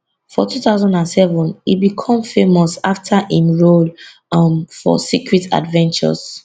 for 2007 e become famous afta im role um for secret adventures